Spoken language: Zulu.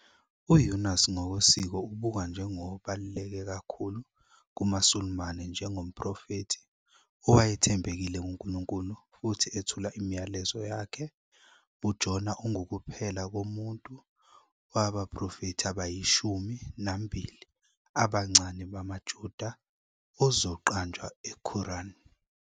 UYūnus ngokwesiko ubukwa njengobaluleke kakhulu kumaSulumane njengomprofethi owayethembekile kuNkulunkulu futhi ethula imiyalezo yakhe. UJona ungukuphela komuntu wabaProfethi Abayishumi Nambili Abancane bamaJuda ozoqanjwa eQuran.